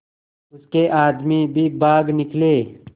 उसके आदमी भी भाग निकले